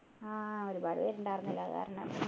ആഹ് ഒരുപാട് പേര് ഉണ്ടായിരുന്നില്ലേ അത് കാരണം